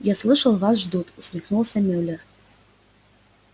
я слышал вас ждут усмехнулся мюллер